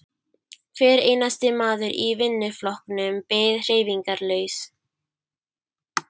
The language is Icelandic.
Hver einasti maður í vinnuflokknum beið hreyfingarlaus.